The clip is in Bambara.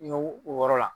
N y'o wɔɔrɔ la